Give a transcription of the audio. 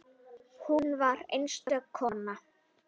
Hún var einstök kona.